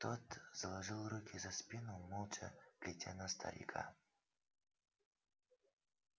тот заложил руки за спину молча глядя на старика